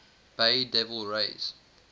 bay devil rays